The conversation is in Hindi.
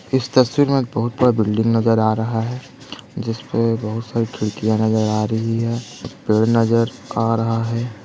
इस तस्वीर में बहुत बड़ा बिल्डिंग नजर आ रहा है जिस पे बहुत सारी खिड़कियां नजर आ रही है पेड़ नजर आ रहा है।